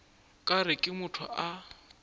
ka re ke motho a